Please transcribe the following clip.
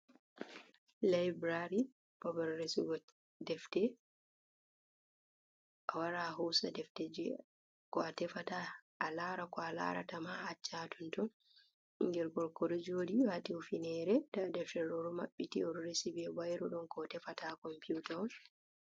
Laibrary babal resigo defte a wara hosa defte je ko tefata a lara ko a larata ma acca ha tonton. Ɓingel gorko ɗo jori wati hufnere nda defte ɗo mabbiti oɗo resi be bairu ɗon ko o tefata Computa on.